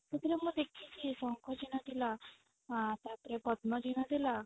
ସେଥିରେ ମୁଁ ଦେଖିଛି ଶଙ୍ଖ ଚିହ୍ନ ଥିଲା ଆଁ ତାପରେ ପଦ୍ମ ଚିହ୍ନ ଥିଲା